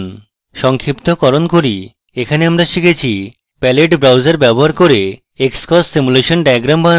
সংক্ষিপ্তকরণ করি এখানে আমরা শিখেছি: palette browser ব্যবহার করে xcos simulation diagrams বানানো